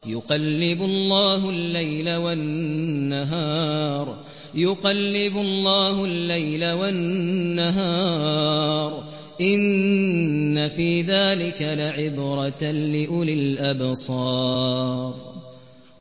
يُقَلِّبُ اللَّهُ اللَّيْلَ وَالنَّهَارَ ۚ إِنَّ فِي ذَٰلِكَ لَعِبْرَةً لِّأُولِي الْأَبْصَارِ